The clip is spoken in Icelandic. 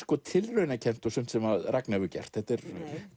tilraunakennt og sumt sem Ragna hefur gert þetta er